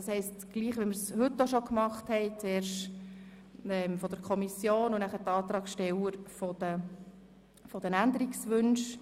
Zuerst spricht der Vertreter der Kommission, danach sprechen die Antragssteller bezüglich der Änderungswünsche.